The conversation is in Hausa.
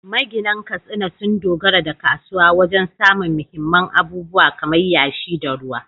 Maginan Katsina sun dogara da kasuwa wajen samun muhimman abubuwa kamar yashi da ruwa.